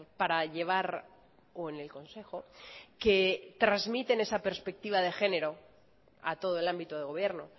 para llevar o en el consejo que transmiten esa perspectiva de género a todo el ámbito de gobierno